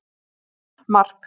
Mín: Mark!!!!!